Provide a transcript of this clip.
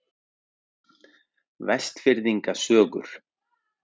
Vestfirðinga sögur.